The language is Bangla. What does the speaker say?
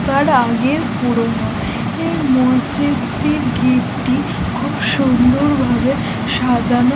অনেক কার আগের পুরোনো এই মসজিদ টি গেট টি খুব সুন্দর ভাবে সাজানো।